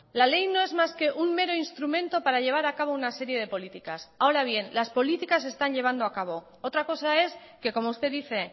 la ley no es más que un mero instrumento para llevar a cabo una serie de políticas ahora bien las políticas se están llevando a cabo otra cosa es que como usted dice